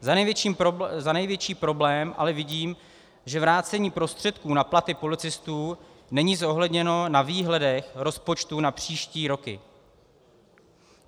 Za největší problém ale vidím, že vrácení prostředků na platy policistů není zohledněno na výhledech rozpočtů na příští roky.